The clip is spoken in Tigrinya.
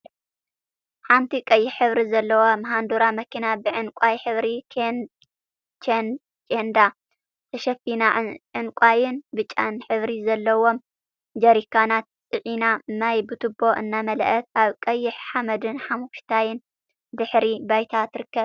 ሓንቲ ቀይሕ ሕብሪ ዘለዋ ማሃንዱራ መኪና ብዕንቃይ ሕብሪ ኬንዳ ተሸፊና ዕንቃይን ብጫን ሕብሪ ዘለዎም ጀረካናት ጽዒና ማይ ብቱቦ እናመልኣት ኣብ ቀይሕ ሓመድን ሓመኩሽታይን ድሕረ ባይታ ትርከብ።